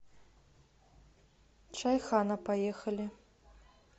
чайхана поехали